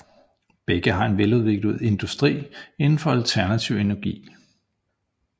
Begge har en veludviklet industri inden for alternativ energi